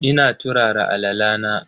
Ina turara alala na.